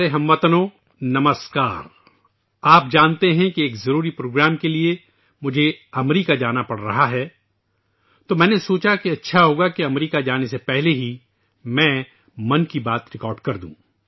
26 ستمبر میرے پیارے ہم وطنو! آپ جانتے ہیں کہ مجھے ایک اہم پروگرام کے لیے امریکہ جانا پڑ رہا ہے اس لیے میں نے سوچا کہ بہتر ہوگا کہ امریکہ جانے سے پہلے 'من کی بات' ریکارڈ کردوں